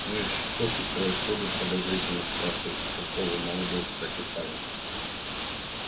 ну и что тут происходит подозрительно спрашивает участковый молодой кстати парень